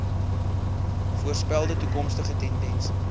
voorspelde toekomstige tendense